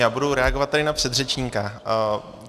Já budu reagovat tady na předřečníka.